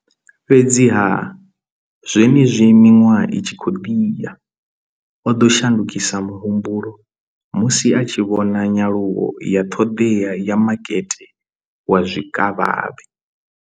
Fhedziha, zwenezwi miṅwaha i tshi khou ḓi ya, o ḓo shandukisa muhumbulo musi a tshi vhona nyaluwo ya ṱhoḓea ya makete wa zwikavhavhe.